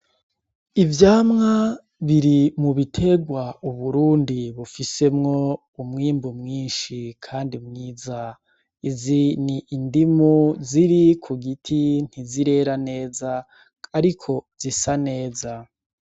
Ivyamwa biri mu biterwa Uburundi bufisemwo umwimbu mwinshi kandi mwiza. Izi ni indimu ziri ku giti, ntizirera neza ariko zisa neza.